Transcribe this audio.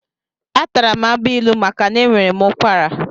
Atara m agbilu maka na enwere m ụkwara.